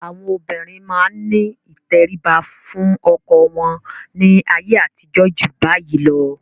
Àwọn obìnrin máa ní ìtẹríba fún ọkọ wọn ní ayé àtijó ju bayìí lọ.